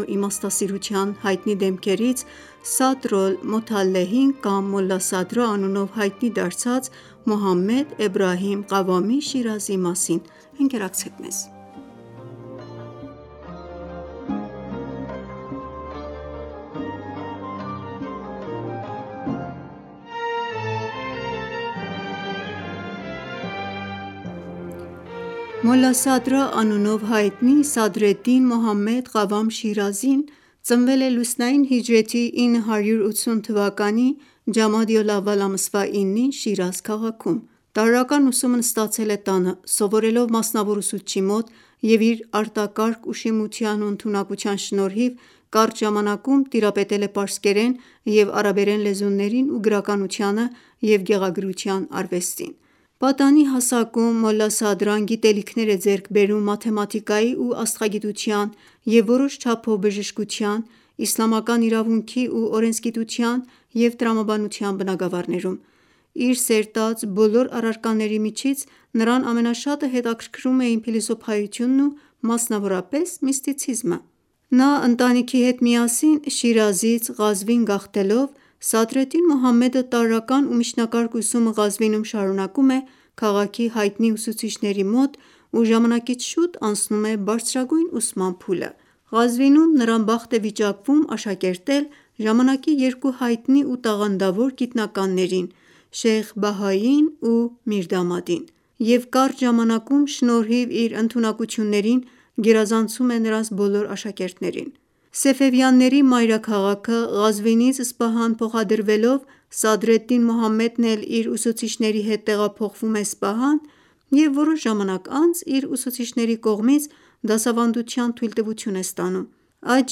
ու իմաստասիրության հայտնի դեմքերից Սադր-օլ-Մոթեալեհին կամ Մոլասադրա անունով հայտնի դարձած Մոհամմեդ Էբրահիմ Ղավամի Շիրազիին: Մոլասադրա անունով հայտնի Սադրեդդին Մոհամմեդ Ղավամ Շիրազին լուսնային հիջրեթի 980 թվականի ջամադի-ալ-ավալ ամսվա 9-ին (1571) ծնվեց Շիրազ քաղաքում: Տարրական ուսումն ստացավ տանը՝ մասնավոր ուսուցչի միջոցով և իր արտակարգ ուշիմության ու ընդունակության պատճառով կարճ ժամանակում տիրապետեց պարսից և արաբ լեզուներին ու գրականությանը և գեղագրության արվեստին: Պատանի հասակում մաթեմատիկայի ու աստղագիտության ու որոշ չափով բժշկության, իսլամական իրավունքի ու օրենսգիտության և տրամաբանության բնագավառներում գիտելիքներ է ձեռք բերում: Իր սերտած բոլոր առարկաների միջից նրան ամենաշատը հետաքրքրում էին փիլիսոփայությունն ու մասնավորապես միստիցիզմը: Ընտանիքի հետ միասին Շիրազից Ղազվին գաղթելով Սադրեդդին Մոհամմեդը տարրական ու միջնակարգ ուսումը Ղազվինում շարունակում քաղաքի հայտնի ուսուցիչների մոտ ու ժամանակից շուտ անցնում է բարձրագույն ուսման փուլը: Ղազվինում նրան բախտ է վիճակվում աշակերտել ժամանակի երկու հայտնի ու տաղանդավոր գիտնականներին՝ Շեյխ Բահայիին ու Միրդամադին և կարճ ժամանակում շնորհիվ իր ընդունակություններին գերազանցում է նրանց բոլոր աշակերտներին: Սեֆևյանների մայրաքաղաքը Ղազվինից Սպահան փոխադրվելով Սադրեդդին Մոհամմեդն էլ իր ուսուցիչների հետ փոխադրվում է Սպահան և մի առ ժամանակ անց իր ուսուցիչների կողմից դասավանդության թույլտվություն է ստանում: Այդ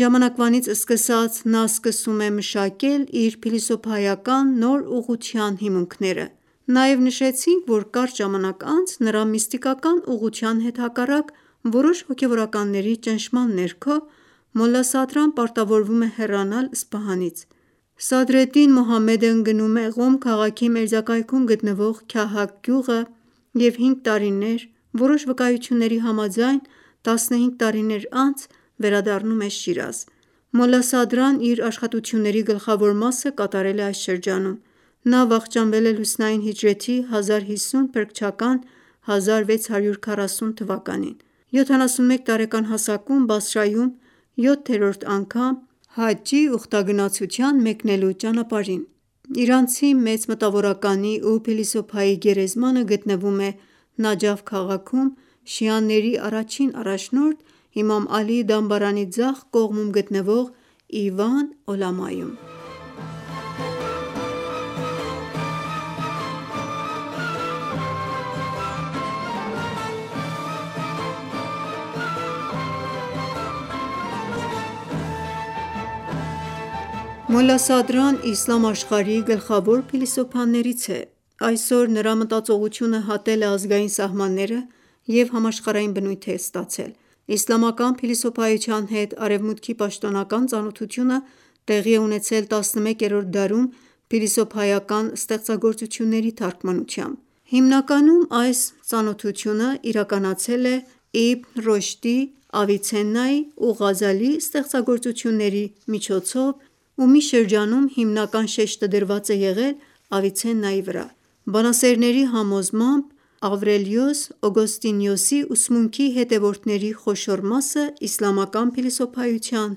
ժամանակվանից սկսած նա սկսում է մշակել իր փիլիսոփայական նոր ուղղության հիմունքները: Նաև նշեցինք, որ կարճ ժամանակ անց նրա միստիկական ուղղության հետ հակառակ որոշ հոգևորականների ճնշման ներքո Մոլասադրան պարտավորվում է հեռանալ Սպահանից: Գնում է Ղոմ քաղաքի մերձակայքում գտնվող Քահաք գյուղն ու 5 տարիներ և որոշ վկայությունների համաձայն 15 տարիներ անց վերադառնում է Շիրազ: Մոլասադրան իր աշխատասիրությունների գլխավոր մասը կատարել է այս շրջանում: Մոլսադրան վախճանվեց լուսնային հիջրեթի 1050՝ փրկչական 1640 թվականին, 71 տարեկան հասակում, Բասրայում, 7-րդ անգամ Հաջի ուխտագնացության մեկնելու ճանապարհին: Իրանցի մեծ մտավորականի ու փիլիսոփայի գերեզմանը գտնվում է Նաջաֆ քաղաքում՝ շիաների առաջին առաջնորդ Իմամ Ալիի դամբարանի ձախ կողմում գտնվող «Իվան Օլամա»-ում: Մոլասադրան իսլամ աշխարհի գլխավոր փիլիսոփաներից է: Այսօր նրա մտածողությունը հատել է ազգային սահմաններն ու համաշխարհային բնույթ է կրում: Իսլամական փիլիսոփայության հետ արևմուտքի պաշտոնական ծանոթությունը տեղի է ունեցել 11-րդ դարում փիլիսոփայական ստեղծագործությունների թարգմանությամբ: Հիմնականում այս ծանոթությունն իրականացվել է Իբն Ռոշդի, Ավիցեննայի ու Ղազալիի ստեղծագործությունների միջոցով ու մի շրջանում հիմնական շեշտը դրված է եղել Ավիցիեննայի վրա: Բանասերների համոզմամբ Ավրելիոս Օգոստինիոսի ուսմունքի հետևորդների խոշոր մասը իսլամական փիլիսոփայության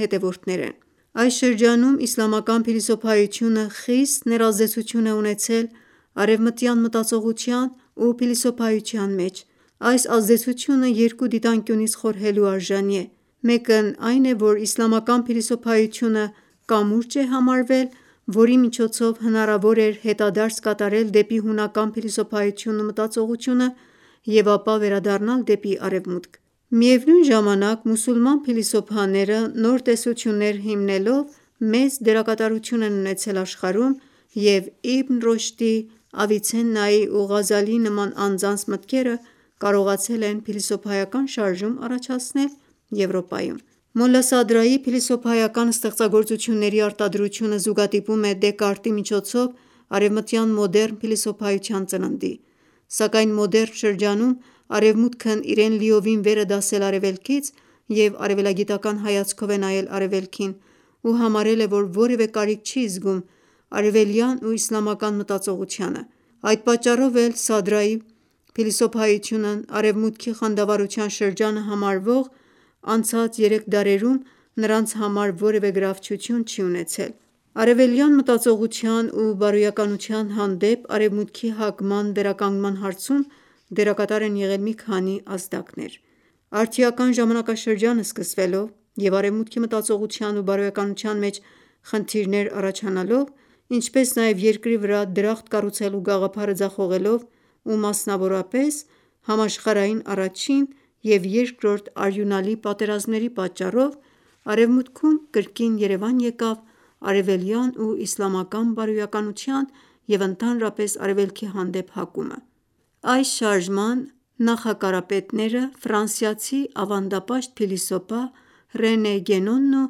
հետևորդներ են: Այս շրջանում իսլամական փիլիսոփայությունը խիստ ներազդեցություն է ունեցել արևմտյան մտածողության ու փիլիսոփայության մեջ: Այս ազդեցությունը երկու դիտանկյունից խորհելու արժանի է: Մեկն այն որ իսլամական փիլիսոփայությունը կամուրջ է համարվել, որի միջոցով հնարավոր էր հետադարձ կատարել դեպի հունական փիլիսոփայությունն ու մտածողությունը և ապա վերադառնալ դեպի արևմուտք: Միևնույն ժամանակ մուսուլման փիլիսոփաները նոր տեսություններ հիմնելով մեծ դերակատարություն են ունեցել աշխարհում և Իբն Ռոշդի, Ավիցեննայի ու Ղազալիի նման անձանց մտքերը կարողացել են փիլիսոփայական շարժում առաջացնել Եվրոպայում: Մոլասադրայի փիլիսոփայական ստեղծագործությունների արտադրությունը զուգադիպում է Դեկարտի միջոցով արևմտյան մոդեռն փիլիսոփայության ծննդի: Սակայն մոդեռն շրջանում արևմուտքն իրեն լիովին վեր է դասել արևելքից և արևելագիտական հայացքով է նայել արևելքին ու համարել է, որ որևէ կարիք չի զգում արևելյան ու իսլամական մտածողությանը: Այդ պատճառով էլ Սադրայի փիլիսոփայությունն արևմուտքի խանդավառության շրջանը համարվող անցած երեք դարերում նրանց համար որևէ գրավչություն չի ունեցել: Արևելյան մտածողության ու բարոյականության հանդեպ արևմուտքի հակման վերականգնման հարցում դերակատար են եղել մի քանի ազդակներ: Արդիական ժամանակաշրջանը սկսվելով և արևմուտքի մտածողության ու բարոյականության մեջ խնդիրներ առաջանալով, ինչպես նաև Երկրի վրա դրախտ կառուցելու գաղափարը ձախողելով ու մասնավորապես համաշխարհային առաջին և երկրորդ արյունալի պատերազմների պատճառով արևմուտքում կրկին երևան եկավ արևելյան ու իսլամական բարոյականության ու ընդհանրապես արևելքի հանդեպ հակումը: Այս շարժման նախակարապետները ֆրանսիացի ավանդապաշտ փիլիսոփա Ռենե Գենոնն ու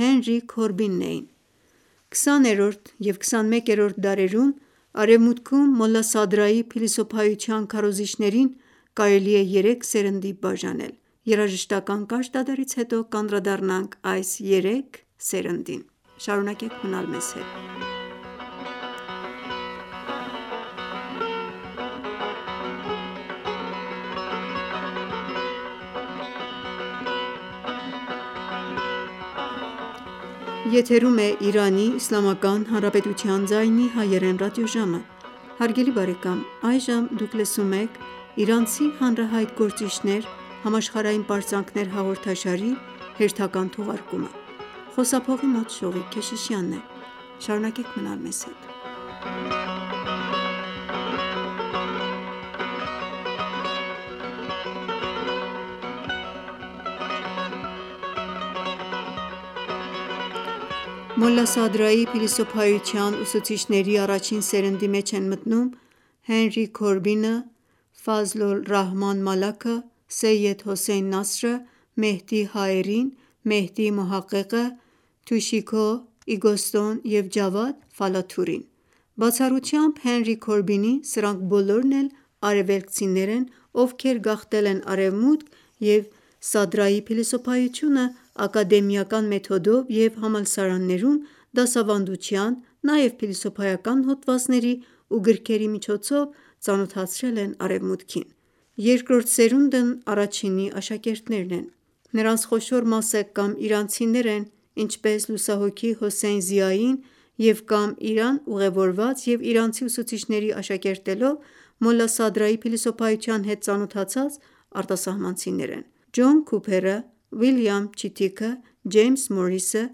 Հենրի Քորբինն էին: 20-րդ և 21-րդ դարերում արևմուտքում Մոլասադրայի փիլիսոփայության քարոզիչներին կարելի է երեք սերնդի բաժանել: Սադրայի փիլիսոփայության ուսուցիչների առաջին սերնդի մեջ են մտնում Հենրի Քորբինը, Ֆազլոլռահման Մալաքը, Սեյեդ Հոսեյն Նասրը, Մեհդի Հաերին, Մեհդի Մոհաղեղը, Թուշիհիկո Իզոտսոն և Ջավադ Ֆալաթուրին: Բացառությամբ Հենրի Քորբինի սրանք բոլորն էլ արևելքցիներ են, ովքեր գաղթել են արևմուտք և Սադրայի փիլիսոփայությունը ակադեմիական մեթոդով և համալսարաններում դասավանդության, նաև փիլիսոփայական հոդվածների ու գրքերի միջոցով ծանոթացրել են արևմուտքին: Երկրորդ սերունդն առաջինի աշակերտներն են: Նրանց խոշոր մասը կամ իրանցիներ են, ինչպես լուսահոգի Հոսեյն Զիային և կամ Իրան ուղևորված և իրանցի ուսուցիչների աշակերտելով Մոլասադրայի փիլիսոփայության հետ ծանոթացած արտասահմանցիներ են: Ջոն Քուփերը, Վիլիամ Չիթիքը, Ջեյմս Մուրիսը,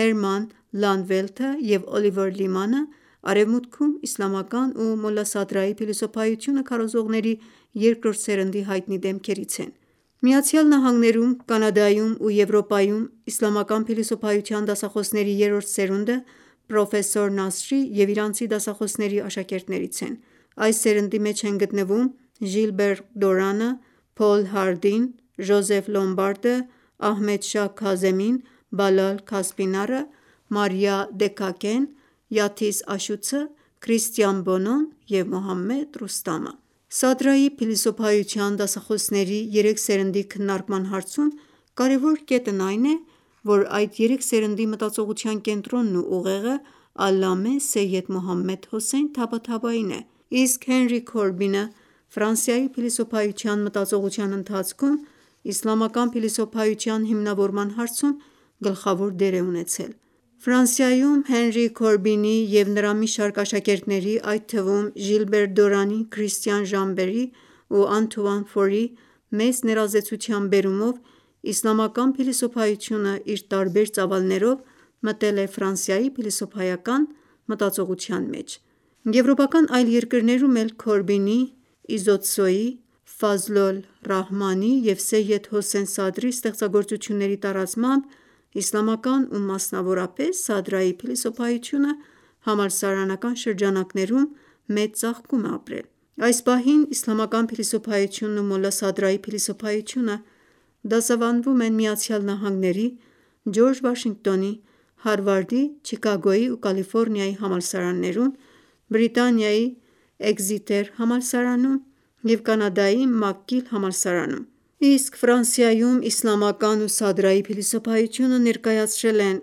Հերման Լանդվելթը և Օլիվեր Լիմանը արևմուտքում իսլամական ու Մոլասադրայի փիլիսոփայությունը քարոզողների երկրորդ սերնդի հայտնի դեմքերից են: ԱՄՆ-ում, Կանադայում ու Եվրոպայում իսլամական փիլիսոփայության դասախոսների երրորդ սերունդը պրոֆ. Նասրի և իրանցի դասախոսների աշակերտներից են: Այս սերնդի մեջ են գտնվում Ժիլբեր Դորանը, Փոլ Հարդին, Ջոզեֆ Լոմբարդը, Ահմեդշահ Քազեմին, Բալալ Քասփինարը, Մարիա Դեքաքեն, Յաթիս Աշուցը, Քրիսթիան Բոնոն և Մոհամմեդ Ռուստամը: Սադրայի փիլիսոփայության դասախոսների երեք սերնդի քննարկման հարցում կարևոր կետն այն է, որ այդ երեք սերնդի մտածողության կենտրոնն ու ուղեղը Ալամե Սեյեդ Մոհամմեդ Հոսեյն Թաբաթաբային է, իսկ Հենրի Քորբինը Ֆրանսիայի փիլիսոփայության մտածողության ընթացքում իսլամական փիլիսոփայության հիմնավորման հարցում գլխավոր դերակատարություն է ունեցել: Ֆրանսիայում Հենրի Քորբինի և նրա մի շարք աշակերտների, այդ թվում Ժիլբեր Դորանի, Քրիստիան Ժամբեի ու Անթուան Ֆորի մեծ ներազդեցության պատճառով իսլամական փիլիսոփայություն իր տարբեր ծավալներով մտել է Ֆրանսիայի փիլիսոփայական մտածողության մեջ: Եվրոպական այլ երկրներում էլ Քորբինի, Իզոտսոյի, Ֆազլոլռահմանի և Սեյեդ Հոսեյն Սադրի ստեղծագործությունների տարածմամբ իսլամական ու մասնավորապես Սադրայի փիլիսոփայությունը համալսարանական շրջանակներում մեծ ծաղկում է ապրել: Այս պահին իսլամական փիլիսոփայությունն ու Մոլասադրայի փիլիսոփայությունը դասավանդվում են ԱՄՆ-ի Ջորջ Վաշինգտոնի, Հարվարդի, Չիկագոյի ու Կալիֆորնիայի համալսարաններում, Բրիտանիայի Էքզիթեր համալսարանում և Կանադայի ՄաքԳիլ համալսարանում, իսկ Ֆրանսիայում իսլամական ու Սադրայի փիլիսոփայությունը ներկայացրել են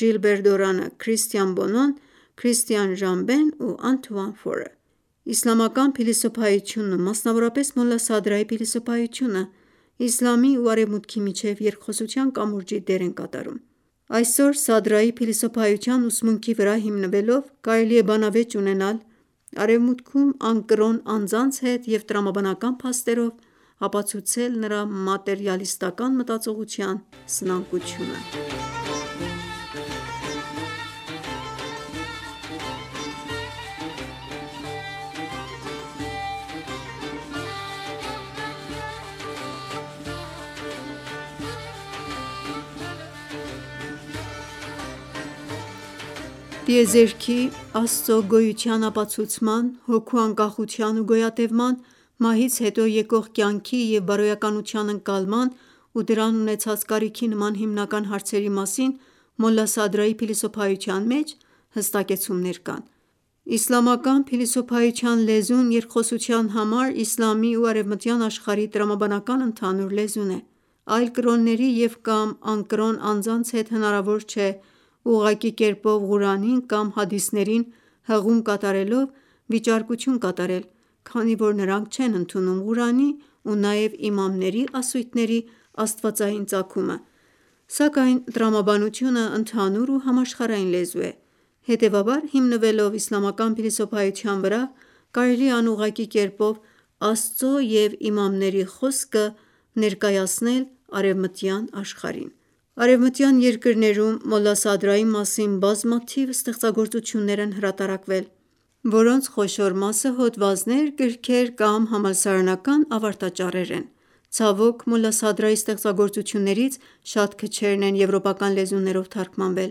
Ժիլբեր Դորանը, Քրիստիան Բոնոն, Քրիստիան Ժամբեն ու Անթուան Ֆորը: Իսլամական փիլիսոփայությունն ու մասնավորապես Մոլասադրայի փիլիսոփայությունը իսլամի ու արևմուտքի միջև երկխոսության կամուրջի դեր են կատարում: Այսօր Սադրայի փիլիսոփայության ուսմունքի վրա հիմնվելով կարելի է բանավեճ ունենալ արևմուտքում անկրոն անձանց հետ և տրամաբանական փաստարկներով ապացուցել նրա մատերիալիստական մտածողության սնանկությունը: Գոյության, Աստծո գոյության ապացուցման, հոգու անկախության ու գոյատևման, մահից հետո եկող կյանքի և բարոյականության ընկալման ու դրան ունեցած կարիքի նման հիմնական հարցերի մասին Մոլասադրայի փիլիսոփայության մեջ հստակեցումներ կան: Իսլամական փիլիսոփայության լեզուն երկխոսության համար իսլամի ու արևմտյան աշխարհի տրամաբանական ընդհանուր լեզուն է: Այլ կրոնների և կամ անկրոն անձանց հետ հնարավոր չէ ուղղակի կերպով Ղուրանին կամ հադիսներին հղում կատարելով վիճարկություն կատարել, քանի որ նրանք չեն ընդունում Ղուրանի ու նաև իմամների ասույթների աստվածային ծագումը, սակայն տրամաբանությունը ընդհանուր ու համաշխարհային լեզու է: Հետևաբար հիմնվելով իսլամական փիլիսոփայության վրա կարելի է անուղղակի կերպով Աստծո և իմամների խոսքը ներկայացնել արևմտյան աշխարհին: Արևմտյան երկրներում Մոլասադրայի մասին բազմաթիվ ստեղծագործություններ են հրատարակվել, որոնց խոշոր մասը հոդվածներ, գրքեր կամ համալսարանական ավարտաճառեր են: Դժբախտաբար Մոլասադրայի ստեղծագործություններից շատ քչերն են եվրոպական լեզուներով թարգմանվել: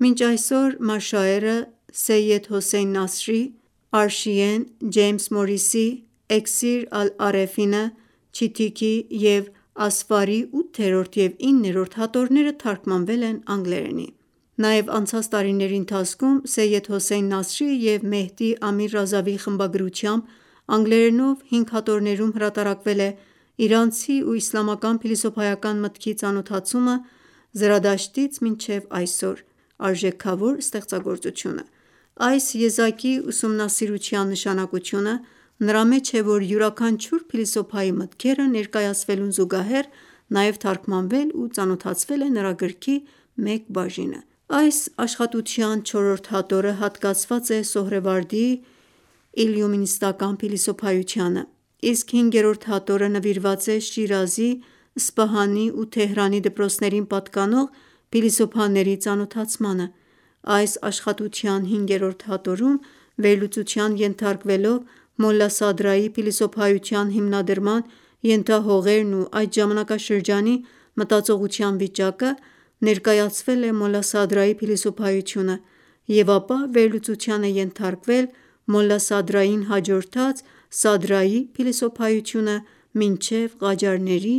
Մինչ այսօր «Մաշաեր»-ը՝ Սեյեդ Հոսեյն Նասրի, «Աըրշիե»-ն ՝ Ջեյմս Մուրիսի, «Էքսիր-ալ-Արեֆին»-ը՝ Չիթիքի և «Ասֆար»-ի 8-րդ և 9-րդ հատորները թարգմանվել են անգլերենի: Նաև անցած տարիների ընթացքում Սեյեդ Հոսեյն Նասրի և Մեհդի Ամիր Ռազավիի խմբագրությամբ անգլերենով հինգ հատորներում հրատարակվել է «Իրանցի ու իսլամական փիլիսոփայական մտքի ծանոթացումը՝ Զրադաշտից մինչև այսօր» արժեքավոր ստեղծագործությունը: Այս եզակի ուսումնասիրության նշանակությունը նրա մեջ է, որ յուրաքանչյուր փիլիսոփայի մտքերը ներկայացվելուն զուգահեռ նաև թարգմանվել ու ծանոթացվել է նրա գրքի մեկ բաժինը: Այս աշխատասիրության չորրորդ հատորը հատկացված է Սոհրեվարդիի իլլումինացիայի փիլիսոփայությանը, իսկ հինգերորդ հատորը նվիրված է Շիրազի, Սպահանի ու Թեհրանի դպրոցներին պատկանող փիլիսոփաների ծանոթացմանը: Այս աշխատասիրության հինգերորդ հատորում վերլուծության ենթարկվելով Մոլասադրայի փիլիսոփայության հիմնադրման ենթահողերն ու այդ ժամանակաշրջանի մտածողության վիճակը, ներկայացվել է Մոլասադրայի փիլիսոփայությունը և ապա վերլուծության է ենթարկվել Մոլասադրային հաջորդած Սադրայի փիլիսոփայությունը մինչև Ղաջարների